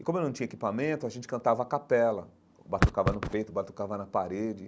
E, como eu não tinha equipamento, a gente cantava a capela, batucava no peito, batucava na parede.